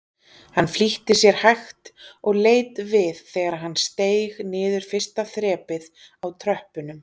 Hann flýtti sér hægt og leit við þegar hann steig niður fyrsta þrepið á tröppunum.